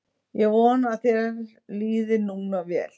Ég vona að þér líði núna vel.